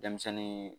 Denmisɛnnin